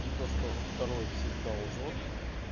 и то что второй всегда лжёт